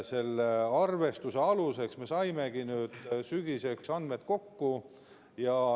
Selle arvestuse aluseks me saimegi sügiseks andmed kokku.